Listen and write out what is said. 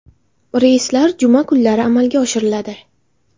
Reyslar juma kunlari amalga oshiriladi.